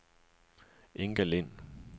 Inga Lind